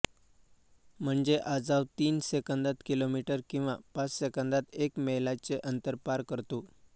म्हणजे आजाव तीन सेकंदात किलोमीटर किंवा पाच सेकंदात एक मैलाचे अंतर पार करतो